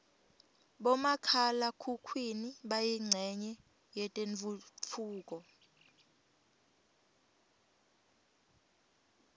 bomakhala khukhwini bayincenye yetentfutfuko